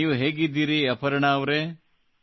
ನೀವು ಹೇಗಿದ್ದೀರಿ ಅಪರ್ಣಾ ಅವರೇ